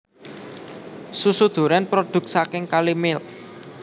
Susu duren produk saking Kalimilk